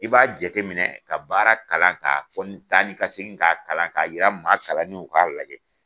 I b'a jateminɛ ka baara kalan k'a kɔni taa ni ka segin k'a kalan k'a yira maa kalanniw k'a lajɛ.